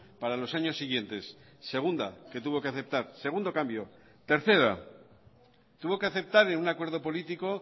para los años siguientes segunda que tuvo que aceptar segundo cambio tercera tuvo que aceptar en un acuerdo político